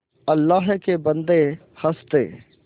अल्लाह के बन्दे हंस दे